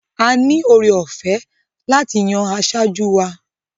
A ní ore ọ̀fẹ́ láti yan asojú wa.